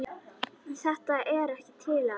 Þetta er ekkert til að.